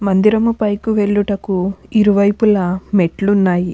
మందిరము పైకు వెళ్ళుటకు ఇరువైపుల మెట్లున్నాయి.